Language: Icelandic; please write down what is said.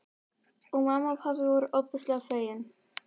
Og mamma og pabbi voru ofboðslega fegin.